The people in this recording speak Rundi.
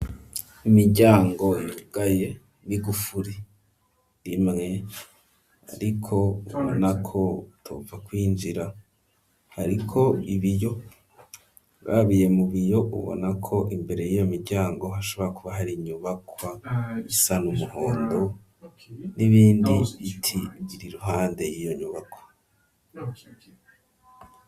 Imiryango yugaye n'igufuri imwe, ariko ubona ko utopfa kw'injira, hariko ibiyo urabiye mu biyo ubona ko imbere y'iyo miryango hashobora kuba har'inyubakwa isana n,umuhondo ,n'ibindi biti bir'iruhande y'iyo nyubakwa.